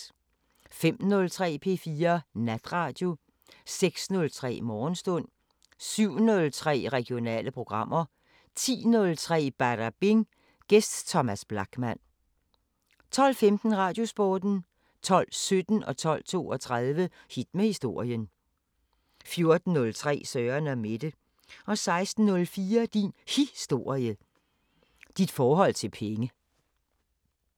05:03: P4 Natradio 06:03: Morgenstund 07:03: Regionale programmer 10:03: Badabing: Gæst Thomas Blachman 12:15: Radiosporten 12:17: Hit med historien 12:32: Hit med historien 14:03: Søren & Mette 16:04: Din Historie – Dit forhold til penge